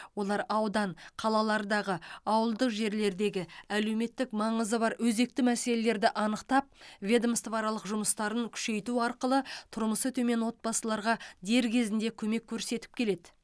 олар аудан қалалардағы ауылдық жерлердегі әлеуметтік маңызы бар өзекті мәселелерді анықтап ведомствоаралық жұмыстарын күшейту арқылы тұрмысы төмен отбасыларға дер кезінде көмек көрсетіп келеді